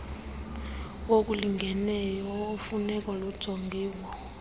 wokulingeneyo nemfuneko ujongiwe